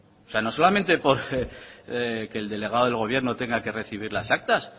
o sea no solamente porque el delegado del gobierno tenga que recibir las actas